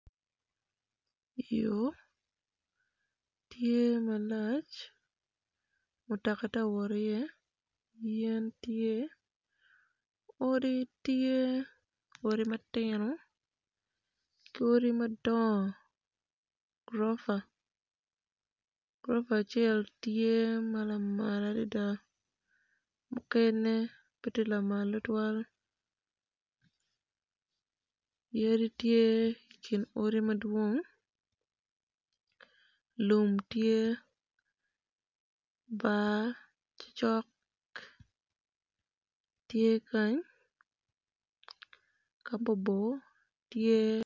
Yo tye malac mutaka ti wot iye yen tye odi tye odi matino ki odi madong gurofa gurofa acel tye ma lamal adida mukene pe tye lamal tutwal yadi tyhe i kin odi madwong lum tye bar ti cok tye kany ka bor bor tye